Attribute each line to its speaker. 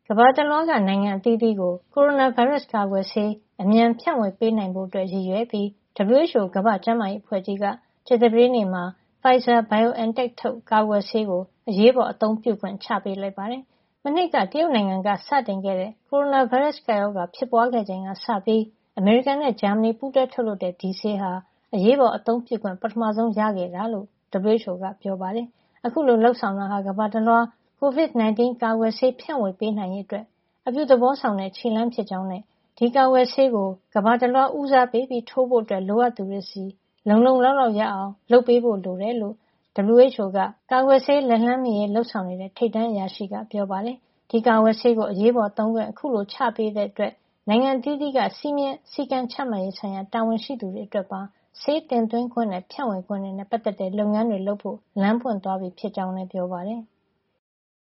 Speaker 1: ကမ္ဘာတလွှားက နိုင်ငံအသီးသီးကို ကိုရိုနာဗိုင်းရပ်စ်ကာကွယ်ဆေး အမြန်ဖြန့်ဝေပေး နိုင်ဖို့အတွက် ရည်ရွယ်ပြီး WHO ကမ္ဘာ့ကျန်းမာရေးအဖွဲ့ကြီးက ကြာသပတေးနေ့မှာ Pfizer-BioNTech ထုတ် ကာကွယ်ဆေးကို အရေးပေါ်အသုံးပြုခွင့် ချပေးလိုက်ပါတယ်။ မနှစ်က တရုတ်နိုင်ငံက စတင်တဲ့ ကိုရိုနာဗိုင်းရပ်စ်ကပ်ရောဂါ ဖြစ်ပွါးချိန်ကစပြီး အမေရိကန်နဲ့ ဂျာမဏီ ပူူးတွဲထုတ်လုပ်တဲ့ ဒီဆေးဟာ အရေးပေါ်အသုံးပြုခွင့် ပထမဆုံး ရခဲ့တာ ဖြစ်ကြောင်း WHO ကပြောပါတယ်။ အခုလို လုပ်ဆောင်တာဟာ ကမ္ဘာတလွှား COVID-19 ကာကွယ်ဆေး ဖြန့်ဝေပေးနိုင်ရေးအတွက် အပြုသဘောဆောင်တဲ့ ခြေလှမ်းတရပ်ဖြစ်ကြောင်းနဲ့ ဒီကာကွယ်ဆေးကို ကမ္ဘာတလွှားက ဦးစားပေးပြီး ထိုးပေးဖို့ လိုအပ်သူတွေဆီ လုံလုံလောက်လောက် ရအောင် လုပ်ဖို့ လိုအပ်ကြောင်း WHO ရဲ့ ကာကွယ်ဆေး လက်လှမ်းမှီရေး လုပ်ဆောင်နေတဲ့ ထိပ်တန်းအရာရှိ Mariangela Simao က ပြောပါတယ်။ ဒီကာကွယ်ဆေးကို အရေးပေါ်သုံးခွင့် အခုလို ချပေးလိုက်တာကြောင့် နိုင်ငံအသီးသီးက စည်းမျဉ်းစည်းကမ်း ချမှတ်ရေး ဆိုင်ရာတာဝန်ရှိသူတွေအတွက်ပါ ဆေးတင်သွင်းခွင့်နဲ့ ဖြန့်ဝေခွင့်တွေ နဲ့ပတ်သက်တဲ့ လုပ်ငန်းတွေလုပ်ဆောင်ဖို့
Speaker 2: လမ်းပွင့်သွားပြီ ဖြစ်ကြောင်းလည်း WHO ကပြောပါတယ်။